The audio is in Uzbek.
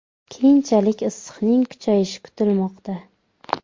Keyinchalik issiqning kuchayishi kutilmoqda.